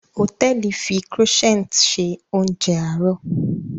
Hòtẹ́ẹ̀lì fi Croissant ṣe oúnjẹ àárọ̀